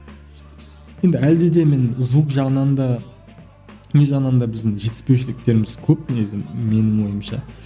енді әлде де мен звук жағынан да не жағынан да біздің жетіспеушіліктеріміз көп негізі менің ойымша